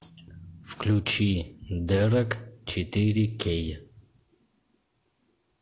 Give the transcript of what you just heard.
включи дерек четыре кей